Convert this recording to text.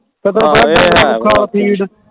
ਹਾਂ ਇਹ ਹੈ ਖਲ ਫੀਡ